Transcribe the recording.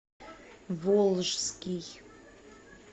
волжский